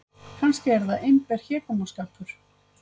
Kannski er það einber hégómaskapur.